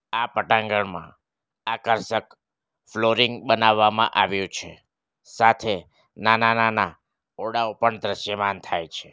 આ પટાંગણમાં આકર્ષક ફ્લોરિંગ બનાવવામાં આવ્યો છે સાથે નાના-નાના ઓડાઓ પણ દ્રશ્યમાન થાય છે.